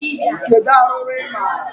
Kedu arụrụ ị maara?